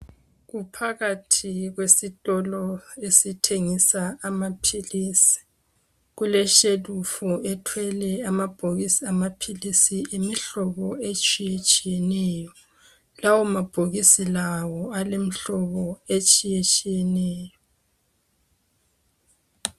Kuphakathi kwesitolo esithengisa amaphilisi .Kuleshelufu ethwele amabhokisi amaphilisi emihlobo etshiye tshiyeneyo .Lawo mabhokisi lawo alemhlobo etshiye tshiyeneyo .